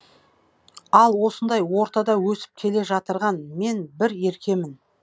ал осындай ортада өсіп келе жатырған мен бір еркемін